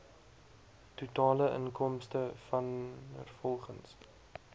totale inkomste vanrvolgens